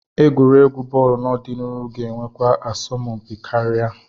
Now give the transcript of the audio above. Egwuregwu bọọlụ n'ọdịnihu ga-enwekwa asọmpi karịa.